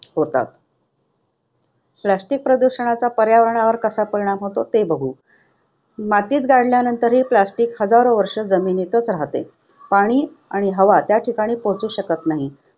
होतात, Plastic प्रदूषणाचा पर्यावरणावर कसा परिणाम होतो ते बघू. मातीत गाडल्यानंतरही plastic हजारो वर्षे जमिनीतच राहते. पाणी आणि हवा त्या ठिकाणी पोहोचू शकत नाही.